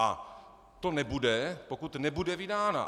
A to nebude, pokud nebude vydána.